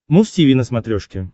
муз тиви на смотрешке